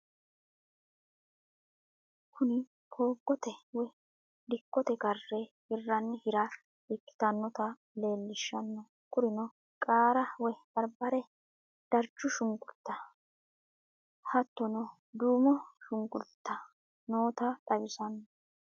Kuni foogote woyi dikkote kare hiranni hira ikkitinotta leellishanno kurino qaarr woyi baribare, darichu shunkurita hattono duumo shunkurita nootta xawisano